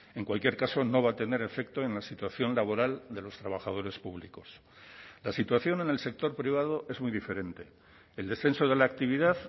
en cualquier caso no va a tener efecto en la situación laboral de los trabajadores públicos la situación en el sector privado es muy diferente el descenso de la actividad